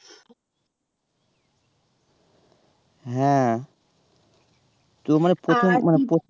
হ্যাঁ কেউ মানে প্রথম মানে হ্যাঁ